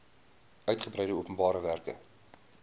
uigebreide openbare werke